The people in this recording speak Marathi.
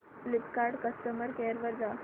फ्लिपकार्ट कस्टमर केअर वर जा